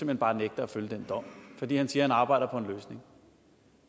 hen bare nægter at følge den dom fordi han siger at han arbejder på en løsning